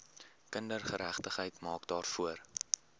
kindergeregtigheid maak daarvoor